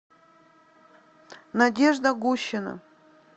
надежда гущина